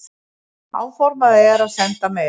Áformað er að senda meira.